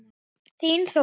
Þín, Þóra.